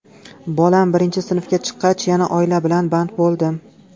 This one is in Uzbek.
Bolam birinchi sinfga chiqqach, yana oila bilan band bo‘ldim.